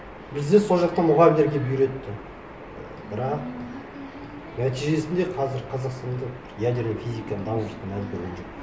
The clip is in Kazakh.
бізді сол жақтан мұғалімдер келіп үйретті бірақ нәтижесінде қазір қазақстанда бір ядерная физиканың дамып жатқанын әлі көрген жоқпын